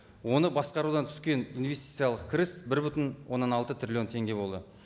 оны басқарудан түскен инвестициялық кіріс бір бүтін оннан алты триллион теңге болды